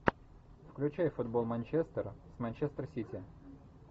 включай футбол манчестера с манчестер сити